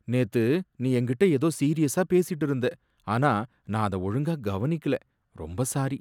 நேத்து நீ என்கிட்ட ஏதோ சீரியஸா பேசிட்டு இருந்த, ஆனா நான் அத ஒழுங்கா கவனிக்கல, ரொம்ப சாரி